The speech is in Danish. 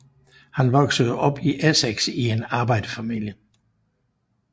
Han voksede op i Essex i en arbejderfamilie